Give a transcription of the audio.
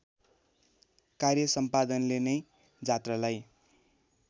कार्यसम्पादनले नै जात्रालाई